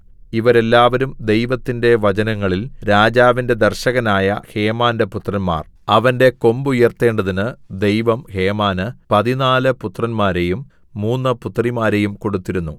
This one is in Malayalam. ഇവർ എല്ലാവരും ദൈവത്തിന്റെ വചനങ്ങളിൽ രാജാവിന്റെ ദർശകനായ ഹേമാന്റെ പുത്രന്മാർ അവന്റെ കൊമ്പുയർത്തേണ്ടതിന് ദൈവം ഹേമാന് പതിനാല് പുത്രന്മാരെയും മൂന്നു പുത്രിമാരെയും കൊടുത്തിരുന്നു